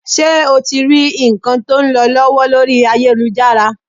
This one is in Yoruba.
Ṣé o ti rí nǹkan tó ń lọ lọ́wọ́ lórí ayélujára?